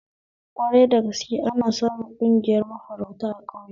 Kwarai da gaske, ana samu ƙungiyar mafarauta a ƙauye